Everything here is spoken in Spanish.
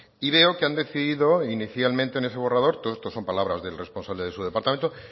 y veo que han decidido inicialmente en ese borrador todo esto son palabras del responsable de su departamento